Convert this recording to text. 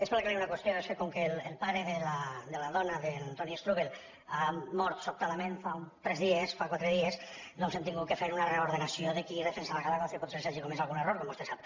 és per aclarir una qüestió és que com que el pare de la dona d’antoni strubell ha mort sobtadament fa uns tres dies fa quatre dies doncs hem hagut de fer una reordenació de qui defensava cada cosa i potser que s’hagi comès algun error com vostè sap